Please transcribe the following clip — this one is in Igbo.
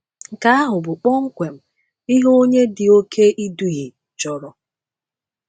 Nke ahụ bụ kpọmkwem ihe Onye Dị Oké Iduhi chọrọ!